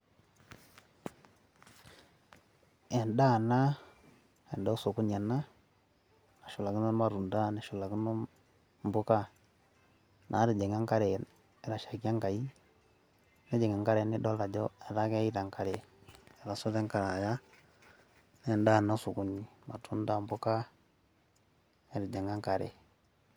edaa ena osokooni ena nashulakino irmatunda, neshulakino, impuka naatijinga enkare, etashaikia enkai, netijing;a enkare nidol ajo etaa keita, enkare etasoto enkare aya, edaa ena osokoni, irmatunda, mpuka, etijing'a enkare.